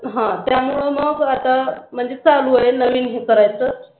हां त्यामुळे मग आता म्हणजे चालू आहे नवीन करायच